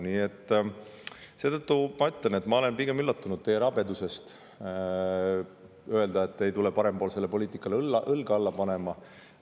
Nii et seetõttu ma ütlen, et ma olen pigem üllatunud teie rabedusest – sellest, et te ei tule parempoolsele poliitikale õlga alla panema.